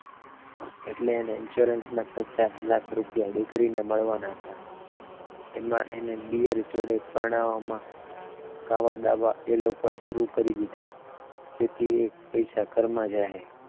એટલે તેને ઇન્શ્યોરન્સના પચાસ લાખ રૂપિયા દીકરીને મળવાના હતા એમાં એને દિયર જોડે પરણાવામાં કાવાદાવા એ લોકોએ શરૂ કરી દીધાં જેથી એ પૈસા ઘરમાં જ આઈ